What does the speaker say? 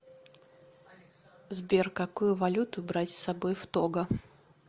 сбер какую валюту брать с собой в того